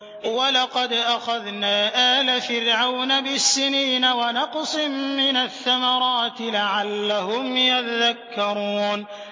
وَلَقَدْ أَخَذْنَا آلَ فِرْعَوْنَ بِالسِّنِينَ وَنَقْصٍ مِّنَ الثَّمَرَاتِ لَعَلَّهُمْ يَذَّكَّرُونَ